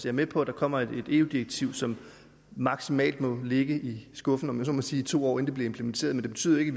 er med på at der kommer et eu direktiv som maksimalt må ligge i skuffen om jeg så må sige i to år inden det bliver implementeret men det betyder jo ikke